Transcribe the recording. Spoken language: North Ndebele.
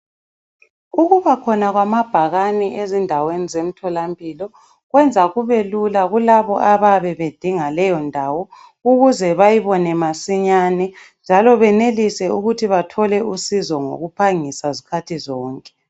Ukubakhona kwamabhakane ezindaweni zemtholampilo kwenza kube lula kulabo abayabe bedinga leyondawo ukuze bayibone masinyane njalo benelise ukuthi bathole usizo ngokuphangisa zikhathi zonke.